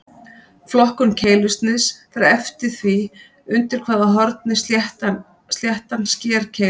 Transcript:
Flokkun keilusniðs fer eftir því undir hvaða horni sléttan sker keiluna.